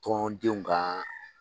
Tɔndenw ka